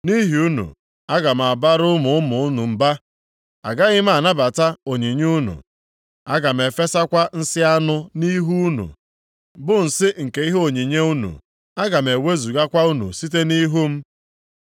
“Nʼihi unu, aga m abara ụmụ ụmụ unu mba. + 2:3 Maọbụ, kpọnwụsịa mkpụrụ ọghịgha unu Agaghị m anabata onyinye unu, aga m efesakwa nsị anụ nʼihu unu, bụ nsị nke ihe onyinye unu, aga m ewezugakwa unu site nʼihu m.